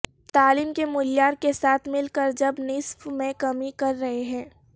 تعلیم کے معیار کے ساتھ مل کر جب نصف میں کمی کر رہے ہیں